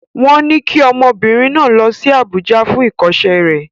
Wọ́n ní kí ọmọbìnrin náà lọ sí Àbújá fún ìkọ́ṣẹ́ rẹ̀.